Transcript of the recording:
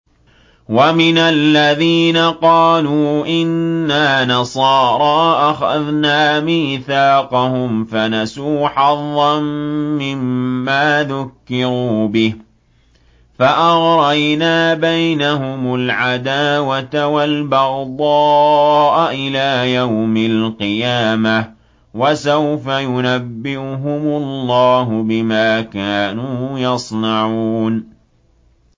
وَمِنَ الَّذِينَ قَالُوا إِنَّا نَصَارَىٰ أَخَذْنَا مِيثَاقَهُمْ فَنَسُوا حَظًّا مِّمَّا ذُكِّرُوا بِهِ فَأَغْرَيْنَا بَيْنَهُمُ الْعَدَاوَةَ وَالْبَغْضَاءَ إِلَىٰ يَوْمِ الْقِيَامَةِ ۚ وَسَوْفَ يُنَبِّئُهُمُ اللَّهُ بِمَا كَانُوا يَصْنَعُونَ